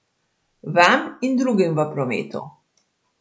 Vam in drugim v prometu.